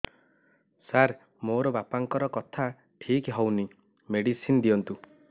ସାର ମୋର ବାପାଙ୍କର କଥା ଠିକ ହଉନି ମେଡିସିନ ଦିଅନ୍ତୁ